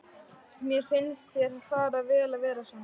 Mér finnst þér fara vel að vera svona.